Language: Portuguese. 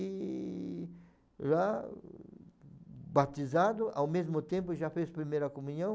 E lá, batizado, ao mesmo tempo já fez primeira comunhão.